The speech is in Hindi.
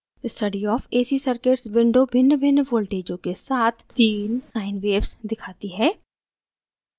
study of ac circuits window भिन्नभिन्न voltages के साथ sine sine waves दिखाती है